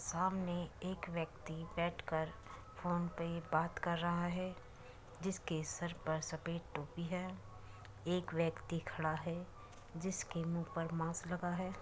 सामने एक व्यक्ति बैठ कर फ़ोन पे बात कर रहा है। जिसके सर पर सफ़ेद टोपी है। एक व्यक्ति खड़ा है। जिस के मुंह पर मास्क लगा है।